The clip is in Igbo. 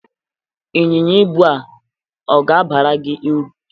Ịnyịnya ibu a ọ ga-abara gị ụrụ?